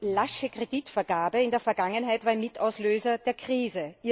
Die lasche Kreditvergabe in der Vergangenheit war ein Mitauslöser der Krise.